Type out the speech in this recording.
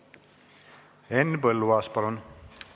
Henn Põlluaas, palun!